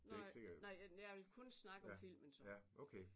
Nej nej men jeg vil kun snakke om filmen så